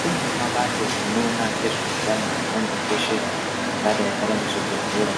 Kunewo mabato anoona ngezveutano angadai ari muzvibhedhlera